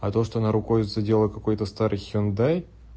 а то что она рукой задела какой-то старый хюндай